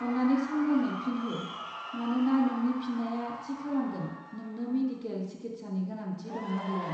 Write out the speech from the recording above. अन्नानै सांग्राङै फिन हो, मानोना नोंनि फिननाया थि खालामगोन नोंनो मेडिकेल सिकित्सानि गोनांथि दं ना गैया।